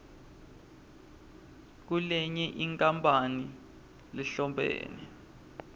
kulenye inkampani lehlobene